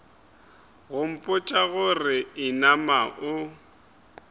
go mpotša gore inama o